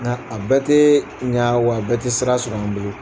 Nga a bɛɛ tɛ nga wa a bɛɛ tɛ sira sɔrɔ an bolo.